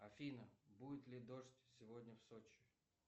афина будет ли дождь сегодня в сочи